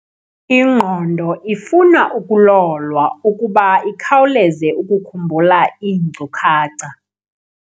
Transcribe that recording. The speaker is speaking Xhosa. Ingqondo ifuna ukulolwa ukuba ikhawuleze ukukhumbula iinkcukacha.